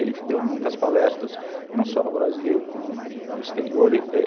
Ele deu muitas palestras, não só no Brasil, como no exterior